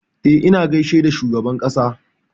E, na gaishe da shugaban ƙasa.